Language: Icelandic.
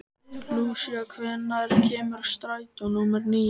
Lúsía, hvenær kemur strætó númer níu?